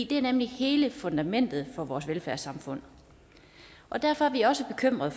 det er nemlig hele fundamentet for vores velfærdssamfund og derfor er vi også bekymrede